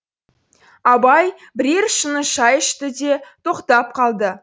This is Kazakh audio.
абай бірер шыны шай ішті де тоқтап қалды